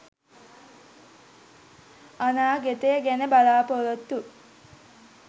අනාගතය ගැන බලා‍පොරොත්තු